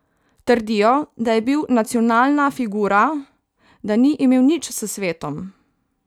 Trdijo, da je bil nacionalna figura, da ni imel nič s svetom.